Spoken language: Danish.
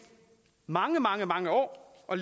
mange mange mange år og